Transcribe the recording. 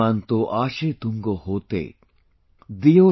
Monto Ashe Tunga hote'